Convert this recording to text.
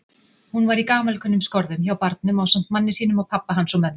Hún var í gamalkunnum skorðum hjá barnum ásamt manni sínum og pabba hans og mömmu.